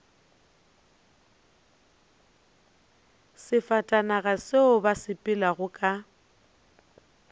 sefatanaga seo ba sepelago ka